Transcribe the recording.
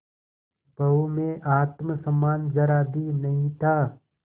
बहू में आत्म सम्मान जरा भी नहीं था